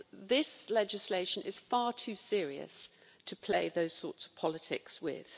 This legislation is far too serious to play those sorts of politics with.